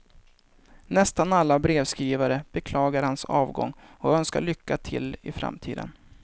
Nästan alla brevskrivare beklagar hans avgång och önskar lycka till i framtiden.